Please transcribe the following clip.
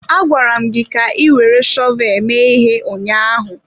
Agwara m gi ka ị were shọvel mee ihe ụnyaahụ!